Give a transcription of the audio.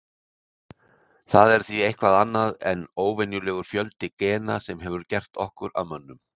Það er því eitthvað annað en óvenjulegur fjöldi gena sem hefur gert okkur að mönnum.